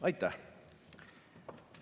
Aitäh!